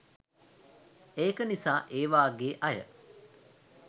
ඒක නිසා ඒ වාගේ අය